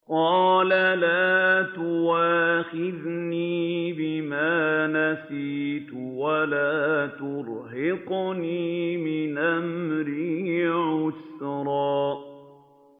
قَالَ لَا تُؤَاخِذْنِي بِمَا نَسِيتُ وَلَا تُرْهِقْنِي مِنْ أَمْرِي عُسْرًا